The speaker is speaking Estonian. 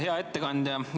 Hea ettekandja!